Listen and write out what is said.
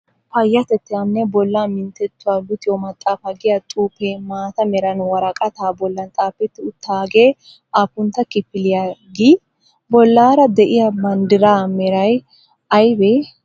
Payyatettaanne bolla minttetuwa luxiyo maxxaafaa giya xuufee maata meran woraqataa bollan xaafetti uttaagee aappuntta kifiliya gii? Bollaara diya banddiraa meray ayibee?